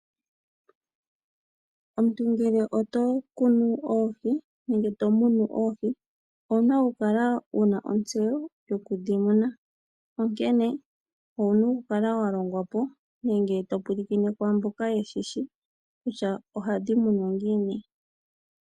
Omuntu ngele oto kunu oohi nenge to munu oohi, owu na okukala wu na ontseyo yoku dhi muna. Onkene owu na okukala wa longwa po nenge to pulakene kwaa mboka ye na ontseyo kutya ohadhi munwa ngiini.